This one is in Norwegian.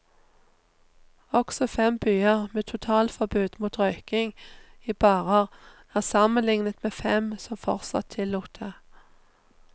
Også fem byer med totalforbud mot røyking i barer er sammenlignet med fem som fortsatt tillot det.